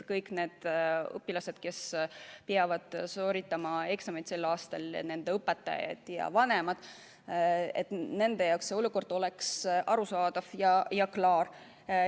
Kõik need õpilased, kes peavad sooritama eksamid sel aastal, nende õpetajad ja vanemad –nende jaoks peab olukord olema arusaadav ja klaar.